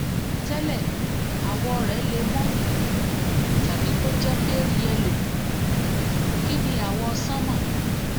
tẹ́lẹ̀ àwọ̀ rẹ̀ le mọ́ tàbí kó jẹ́ pale yẹ́lò kìí ní àwọ̀ sánmà